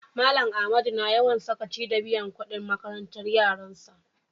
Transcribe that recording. Mallam Ahmadu na yawan sakaci da biyan kudin makarantan yaran sa.